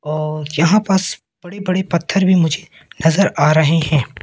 और यहां पास बड़े बड़े पत्थर भी मुझे नजर आ रहे हैं।